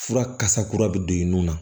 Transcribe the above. Fura kasa kura bɛ don i nun na